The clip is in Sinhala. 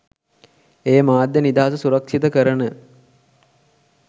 එය මාධ්‍ය නිදහස සුරක්ෂිත කරන